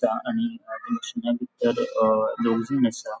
आणि a closing आसा.